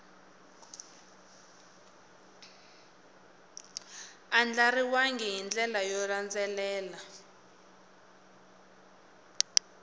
andlariwangi hi ndlela yo landzelela